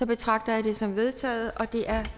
betragter jeg det som vedtaget det er